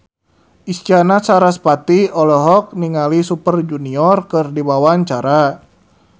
Isyana Sarasvati olohok ningali Super Junior keur diwawancara